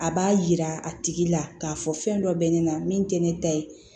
A b'a yira a tigi la k'a fɔ fɛn dɔ bɛ ne la min tɛ ne ta ye